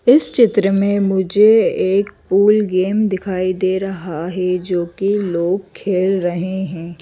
इस चित्र में मुझे एक पूल गेम दिखाई दे रहा है जो कि लोग खेल रहे हैं।